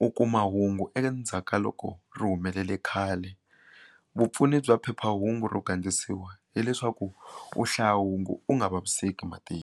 u kuma hungu endzhaku ka loko ri humelele khale vupfuni bya phephahungu ro gandlisiwa hileswaku u hlaya hungu u nga vaviseki matihlo.